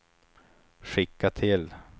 skicka till